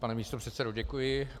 Pane místopředsedo, děkuji.